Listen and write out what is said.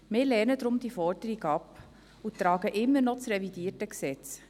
Wir lehnen darum diese Forderung ab und stützen immer noch das revidierte Gesetz.